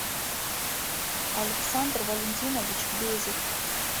александр валентинович безик